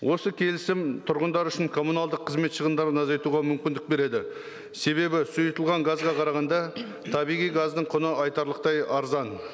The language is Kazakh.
осы келісім тұрғындар үшін коммуналдық қызмет шығындарын азайтуға мүмкіндік береді себебі сұйытылған газға қарағанда табиғи газдың құны айтарлықтай арзан